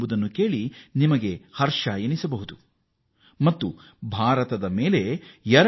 ಭಾರತದ ವಿಜ್ಞಾನಿಗಳು ಈ ಶಕ್ತಿಯನ್ನು ಪ್ರದರ್ಶಿಸಿದ್ದಾರೆ